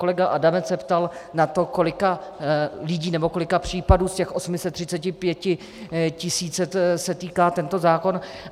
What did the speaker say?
Kolega Adamec se ptal na to, kolika lidí, nebo kolika případů z těch 835 tisíc se týká tento zákon.